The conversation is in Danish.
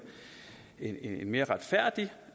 mere retfærdig